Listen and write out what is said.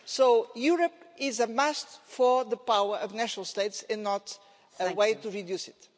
So Europe is a must for the power of national states and not a way to reduce it.